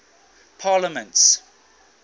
parliaments